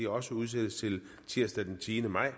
også udsættes til tirsdag den tiende maj